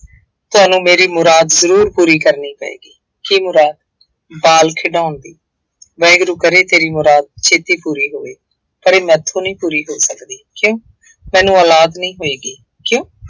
ਤੁਹਾਨੂੰ ਮੇਰੀ ਮੁਰਾਦ ਜ਼ਰੂਰ ਪੂਰੀ ਕਰਨੀ ਪਏਗੀ, ਕੀ ਮੁਰਾਦ, ਬਾਲ ਖਿਡਾਉਣ ਦੀ ਵਾਹਿਗੁਰੂ ਕਰੇ ਤੇਰੀ ਮੁਰਾਦ ਛੇਤੀ ਪੂਰੀ ਹੋਵੇ। ਪਰ ਇਹ ਮੈਥੋਂ ਨਹੀਂ ਪੂਰੀ ਹੋ ਸਕਦੀ, ਕਿਉਂ, ਮੈਨੂੰ ਔਲਾਦ ਨਹੀਂ ਹੋਏਗੀ, ਕਿਉਂ।